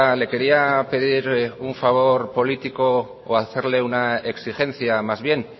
le quería pedir un favor político o hacerle una exigencia más bien